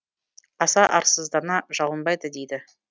аса арсыздана жалынбайды дейді